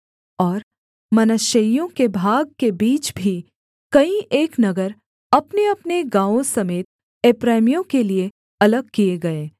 और मनश्शेइयों के भाग के बीच भी कई एक नगर अपनेअपने गाँवों समेत एप्रैमियों के लिये अलग किए गए